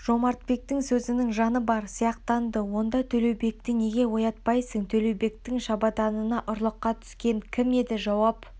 жомартбектің сөзінің жаны бар сияқтанды онда төлеубекті неге оятпайсың төлеубектің шабаданына ұрлыққа түскен кім еді жауап